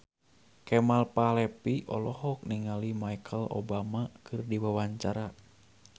Kemal Palevi olohok ningali Michelle Obama keur diwawancara